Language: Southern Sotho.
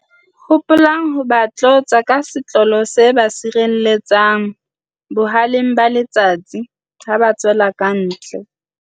Hopolang ho ba tlotsa ka setlolo se ba sireletsang boha-leng ba letsatsi ha ba tswela kantle.